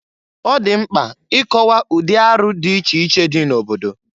Ọ dị mkpa ị kọwa ụdị arụ dị iche iche dị n'obodo.